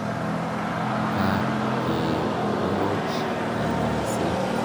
Ka keeporoch kanyaiset.